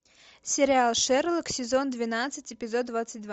сериал шерлок сезон двенадцать эпизод двадцать два